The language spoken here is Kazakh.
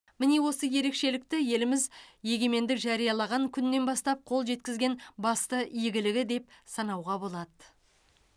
міне осы ерекшелікті еліміз егемендік жариялаған күннен бастап қол жеткізген басты игілігі деп санауға болады